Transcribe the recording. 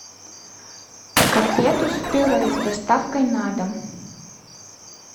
котлету с пюре с доставкой на дом